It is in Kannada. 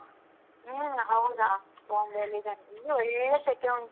ಹ್ಮ್ ಹೌದಾ Bombay ಲಿ ಇದೇನೆ, ಇಲ್ಲಿ ಒಳ್ಳೆ ಸೆಕೆ ಉಂಟು.